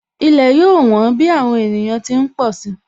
Ilẹ̀ yóò wón bí àwọn ènìyàn ti ń pọ̀ si